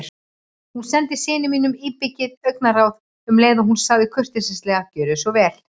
Hún sendi syni sínum íbyggið augnaráð um leið og hún sagði kurteislega: Gjörðu svo vel